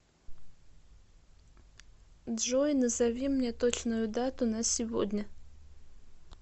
джой назови мне точную дату на сегодня